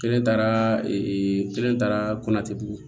Kelen taara kelen taara bugu